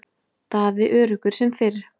Daði öruggur sem fyrr.